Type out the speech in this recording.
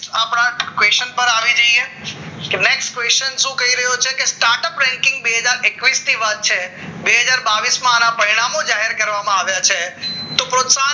ના question પર આવીએ next question શું કરી રહ્યો છે કે startup બેન્કિંગ બે હજાર એકવીસ ની વાત છે બે હજાર બાવીસ માં આના પરિણામ જાહેરાત કરવામાં આવ્યા છે તો